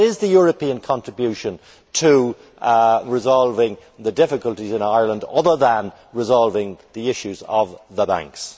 What is the European contribution to resolving the difficulties in Ireland, other than resolving the issues of the banks?